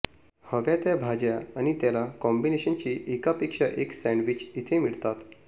हव्या त्या भाज्या आणि त्याला कॉम्बिनेशची एकापेक्षा एक सॅन्डविच इथे मिळतात